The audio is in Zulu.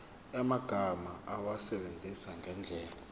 yamagama awasebenzise ngendlela